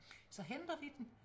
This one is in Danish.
Så henter vi den